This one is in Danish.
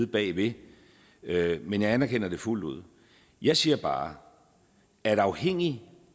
bag det men jeg anerkender det fuldt ud jeg siger bare at afhængigt